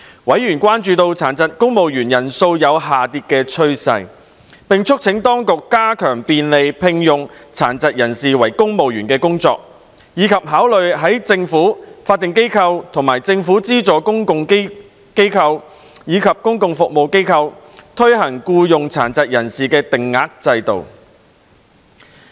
委員關注到殘疾公務員人數有下跌趨勢，並促請當局加強便利聘用殘疾人士為公務員的工作，以及考慮在政府、法定機構、政府資助公共機構和公共服務機構，推行僱用殘疾人士定額制度。